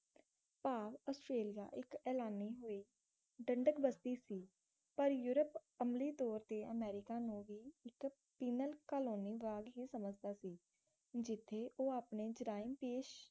ਭਾਵ ਆਸਟਰੇਲੀਆ ਇੱਕ ਐਲਾਨੀ ਹੋਈ ਦੰਡਕ ਬਸਤੀ ਸੀ ਪਰ ਯੂਰਪ ਅਮਲੀ ਤੌਰ ਤੇ ਅਮਰੀਕਾ ਨੂੰ ਵੀ ਇੱਕ ਪੀਨਲ ਕਾਲੋਨੀ ਵਾਂਗ ਹੀ ਸਮਝਦਾ ਸੀ ਜਿੱਥੇ ਉਹ ਆਪਣੀ ਜਰਾਇਮ ਪੇਸ਼